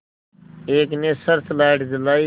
एक ने search light जलाई